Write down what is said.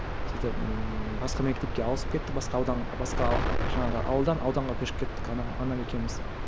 сөйтіп ммм басқа мектепке ауысып кеттім басқа аудан басқа жаңағы ауылдан ауданға көшіп кеттік анам анам екеуміз